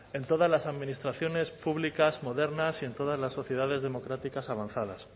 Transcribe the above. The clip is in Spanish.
en todas las administraciones públicas modernas y en todas las sociedades democráticas avanzadas